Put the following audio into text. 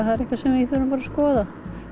það er eitthvað sem við þurfum bara að skoða